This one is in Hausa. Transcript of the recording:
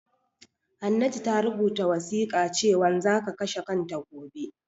Hannatu ta rubuta wasiƙa cewan zaka kashe kanta gobe